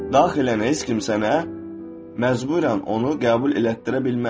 Daxilən heç kim sənə məcburi onu qəbul elətdirə bilməz.